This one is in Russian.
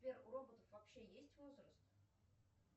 сбер у роботов вообще есть возраст